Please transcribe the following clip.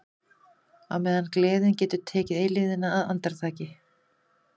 Á meðan gleðin getur gert eilífðina að andartaki.